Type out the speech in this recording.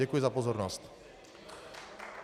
Děkuji za pozornost.